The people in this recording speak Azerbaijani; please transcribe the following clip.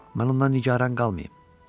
Mən ondan nigaran qalmayım.